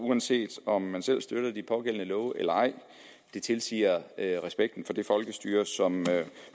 uanset om man selv støtter de pågældende love eller ej det tilsiger respekten for det folkestyre som